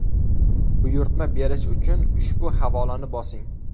Buyurtma berish uchun ushbu havolani bosing.